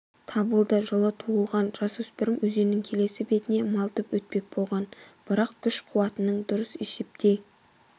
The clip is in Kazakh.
табылды жылы туылған жасөспірім өзеннің келесі бетіне малтып өтпек болған бірақ күш-қуатының дұрыс есептей